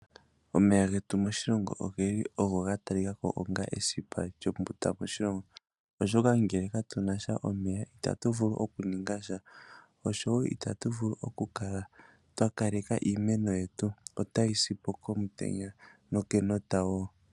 Omeya getu moshilongo oge li ogo ga talika ko ongo esipa lyombunda moshilongo, oshoka ngele katu na sha omeya itatu vulu oku ninga sha, osho wo itatu vulu oku kala twa kaleka iimeno yetu, ota yi si po komutenya nokomutenya wo.